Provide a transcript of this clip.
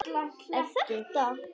Er þetta.?